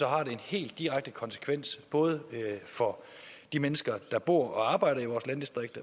har det en helt direkte konsekvens både for de mennesker der bor og arbejder i vores landdistrikter